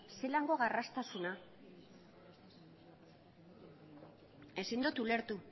zelako garraztasuna ezin dut ulertu